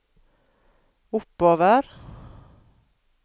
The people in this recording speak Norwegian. oppover